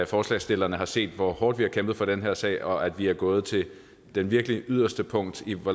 forslagsstillerne har set hvor hårdt vi har kæmpet for den her sag og at vi er gået til det virkelig yderste punkt af hvor